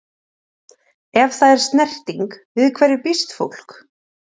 Ef það er snerting- við hverju býst fólk?